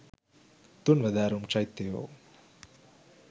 තුන්වැදෑරුම් චෛත්‍යයෝ